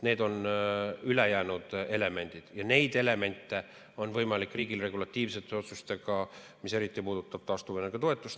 Need on ülejäänud elemendid ja neid elemente on võimalik riigil regulatiivsete otsustega, eriti puudutab see taastuvenergia toetust.